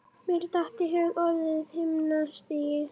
Mér datt í hug orðið himnastigi.